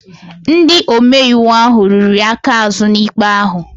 Ndị omeiwu ahụ riri aka azụ n'ikpe ahụ